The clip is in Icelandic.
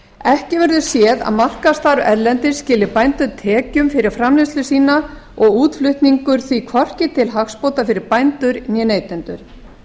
ekki verður séð að markaðsstarf erlendis skili bændum tekjum fyrir framleiðslu sína og útflutningur því hvorki til hagsbóta fyrir bændur né neytendur